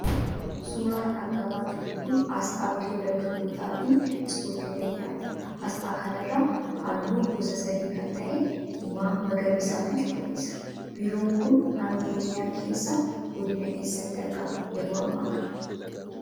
Suuraan argamaa jiru kun asxaa Biiroo Dargaggootaafi ispoortii Oromiyaati. Asxaa kanarra halluu gosa sadii kan ta'e diimaa, magariisaa fi cuquliisa. Biiroon kun naannoo Oromiyaa keessaa godina eessaatti argama yeroo hamma kana